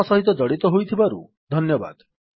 ଆମ ସହିତ ଜଡ଼ିତ ହୋଇଥିବାରୁ ଧନ୍ୟବାଦ